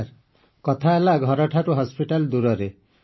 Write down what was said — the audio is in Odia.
ସାର୍ କଥା ହେଲା ଘରଠାରୁ ହସ୍ପିଟାଲ ଦୂରରେ